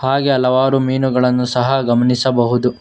ಹಾಗೆ ಹಲವಾರು ಮೀನುಗಳನ್ನು ಸಹ ಗಮನಿಸಬಹುದು.